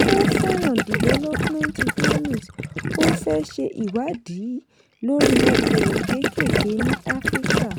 ó fẹ́ràn development economics ó fẹ́ ṣe ìwádìí lórí okòwò kékèké ní africa